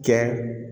Kɛ